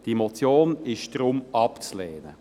Diese Motion ist deshalb abzulehnen.